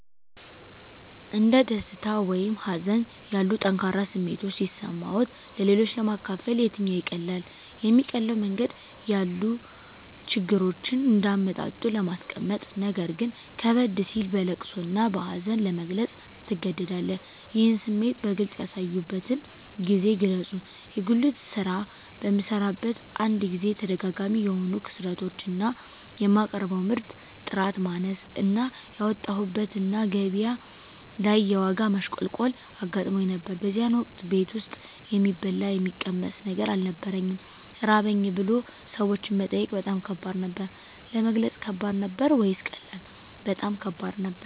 እንደ ደስታ ወይም ሀዘን ያሉ ጠንካራ ስሜቶች ሲሰማዎት-ለሌሎች ለማካፈል የትኛው ይቀላል? የሚቀለው መንገድ ያሉ ችግሮችን እንደ አመጣጡ ለማስቀመጥነገር ግን ከበድ ሲል በለቅሶ እና በሀዘን ለመግለፅ ትገደዳለህ ይህን ስሜት በግልጽ ያሳዩበትን ጊዜ ግለጹ የጉልት ስራ በምሰራበት አንድ ጊዜ ተደጋጋሚ የሆኑ ክስረቶች እና የማቀርበው ምርት ጥራት ማነስ እና ያወጣሁበት እና ገቢያ ላይ የዋጋ ማሽቆልቆል አጋጥሞኝ ነበር በዚያን ወቅት ቤት ውስጥ የሚበላ የሚቀመስ ነገር አልነበረኝም ራበኝ ብሎ ሰዎችን መጠየቅ በጣም ከባድ ነበር። ለመግለጽ ከባድ ነበር ወይስ ቀላል? በጣም ከባድ ነበር